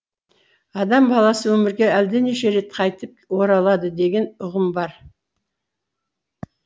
адам баласы өмірге әлденеше рет қайтып оралады деген үғым бар